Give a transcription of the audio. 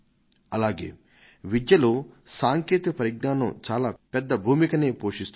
అలాగే విద్యలో సాంకేతిక పరిజ్ఞానం చాలా పెద్ద భూమికనే పోషిస్తుంది